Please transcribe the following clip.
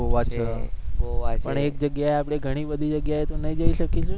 ગોવા છે પણ એક જગ્યા એ આપણે ઘણીબધી જગ્યા એ તો નહી જઈ સકીશુ ને